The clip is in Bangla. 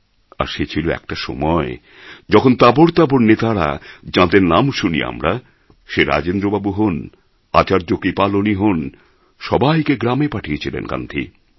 আর সে ছিল একটা সময় যখন তাবড় তাবড় নেতারা যাঁদের নাম শুনি আমরা সে রাজেন্দ্রবাবু হোন আচার্য কৃপালনী হোন সবাইকে গ্রামে পাঠিয়েছিলেন গান্ধী